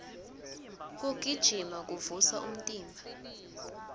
kugijima kuvusa umtimba